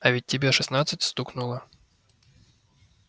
а ведь тебе шестнадцать стукнуло